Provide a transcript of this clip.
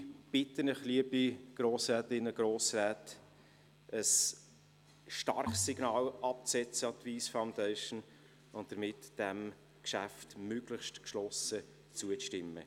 Ich bitte Sie, liebe Grossrätinnen und Grossräte, ein starkes Signal an die Wyss Foundation abzusetzen und diesem Geschäft möglichst geschlossen zuzustimmen.